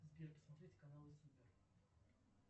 сбер посмотреть каналы супер